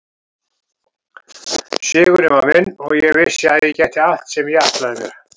Sigurinn var minn og ég vissi að ég gæti allt sem ég ætlaði mér.